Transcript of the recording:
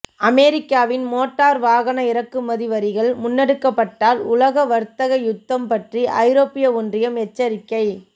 அமெரிக்காவின் மோட்டார்வாகன இறக்குமதி வரிகள் முன்னெடுக்கப்பட்டால் உலக வர்த்தக யுத்தம் பற்றி ஐரோப்பிய ஒன்றியம் எச்சரிக்கை